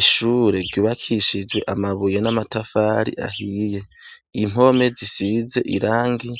Ishure ryubakishijwe amabuye n'amatafari ahiye, Impome zisize irangi,